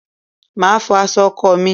Màá fọ aṣọ ọkọ mi.